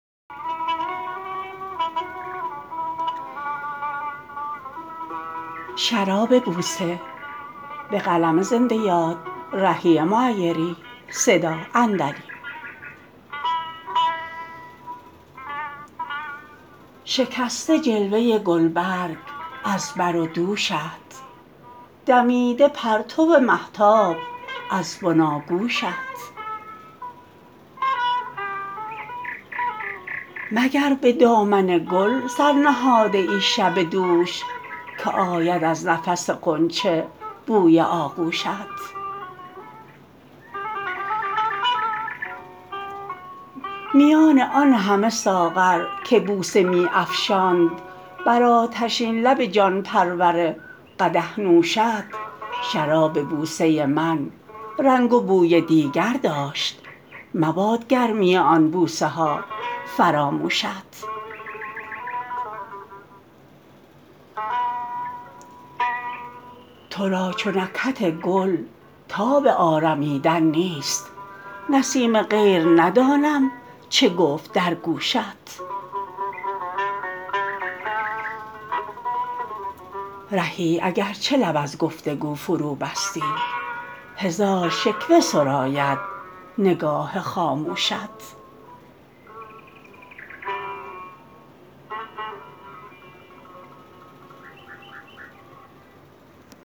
شکسته جلوه گلبرگ از بر و دوشت دمیده پرتو مهتاب از بناگوشت مگر به دامن گل سر نهاده ای شب دوش که آید از نفس غنچه بوی آغوشت میان آن همه ساغر که بوسه می افشاند بر آتشین لب جان پرور قدح نوشت شراب بوسه من رنگ و بوی دیگر داشت مباد گرمی آن بوسه ها فراموشت تو را چو نکهت گل تاب آرمیدن نیست نسیم غیر ندانم چه گفت در گوشت رهی اگرچه لب از گفتگو فروبستی هزار شکوه سراید نگاه خاموشت